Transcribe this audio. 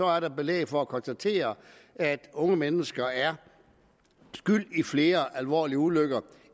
er der belæg for at konstatere at unge mennesker er skyld i flere alvorlige ulykker